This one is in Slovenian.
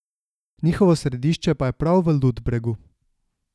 Njihovo središče pa je prav v Ludbregu.